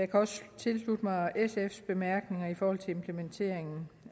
kan også tilslutte mig sfs bemærkninger i forhold til implementeringen